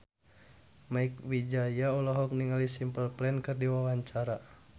Mieke Wijaya olohok ningali Simple Plan keur diwawancara